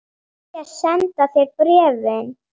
Þeir segjast senda þér bréfin.